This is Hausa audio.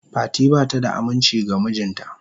Fati bata da aminci ga mijinta.